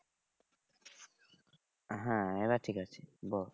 হ্যাঁ এইবার ঠিক আছে বল